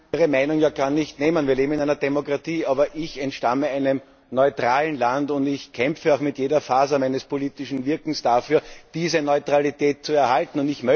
Ich will Ihnen Ihre Meinung ja gar nicht nehmen. Wir leben in einer Demokratie. Aber ich entstamme einem neutralen Land, und ich kämpfe auch mit jeder Faser meines politischen Wirkens dafür, diese Neutralität zu erhalten.